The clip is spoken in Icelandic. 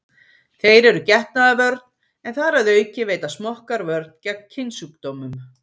Þeir eru getnaðarvörn en þar að auki veita smokkar vörn gegn kynsjúkdómum.